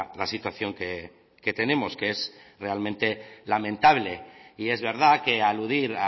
la situación que tenemos que es realmente lamentable y es verdad que aludir